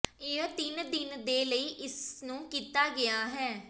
ਇਹ ਤਿੰਨ ਦਿਨ ਦੇ ਲਈ ਇਸ ਨੂੰ ਕੀਤਾ ਗਿਆ ਹੈ